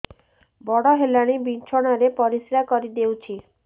ବଡ଼ ହେଲାଣି ବିଛଣା ରେ ପରିସ୍ରା କରିଦେଉଛି